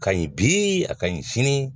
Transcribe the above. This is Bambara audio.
Ka ɲi bi a ka ɲi sini